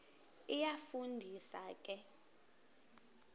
iyafu ndisa ke